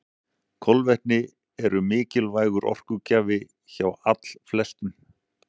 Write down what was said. Kolvetni eru mikilvægur orkugjafi hjá allflestum.